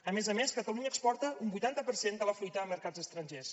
a més a més catalunya exporta un vuitanta per cent de la fruita a mercats estrangers